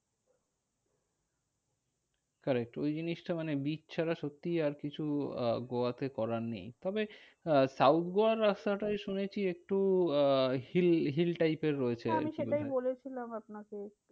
Correct ওই জিনিসটা মানে beach ছাড়া সত্যি আরকিছু আহ গোয়াতে করার নেই। তবে আহ south গোয়ার রাস্তাটায় শুনেছি, একটু আহ hill hill type এর রয়েছে। হ্যাঁ আমি সেটাই বলেছিলাম আপনাকে।